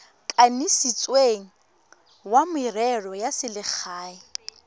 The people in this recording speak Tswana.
kanisitsweng wa merero ya selegae